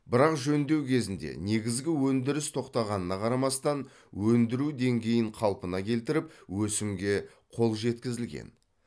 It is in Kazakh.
бірақ жөндеу кезінде негізгі өндіріс тоқтағанына қарамастан өндіру деңгейін қалпына келтіріп өсімге қол жеткізілген